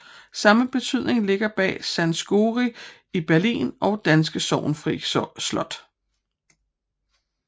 Samme betydning ligger bag Sanssouci i Berlin og danske Sorgenfri Slot